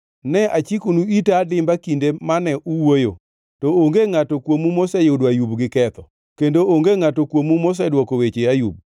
ne achikonu ita adimba kinde mane uwuoyo, to onge ngʼato kuomu moseyudo Ayub gi ketho; kendo onge ngʼato kuomu mosedwoko weche Ayub.